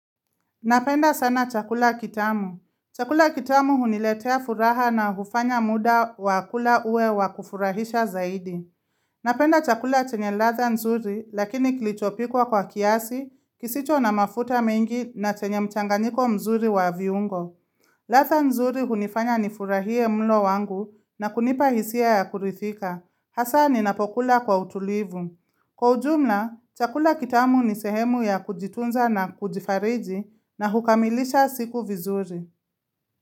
Napenda sana chakula kitamu. Chakula kitamu huniletea furaha na hufanya muda wa kula uwe wakufurahisha zaidi. Napenda chakula chenye ladha nzuri lakini kilichopikwa kwa kiasi, kisicho na mafuta mengi na chenye mchanganyiko mzuri wa viungo. Ladha nzuri hunifanya ni furahie mlo wangu na kunipa hisia ya kurithika. Hasa ninapokula kwa utulivu. Kwa ujumla, chakula kitamu ni sehemu ya kujitunza na kujifariji na hukamilisha siku vizuri.